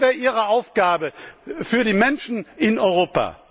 Das wäre Ihre Aufgabe für die Menschen in Europa!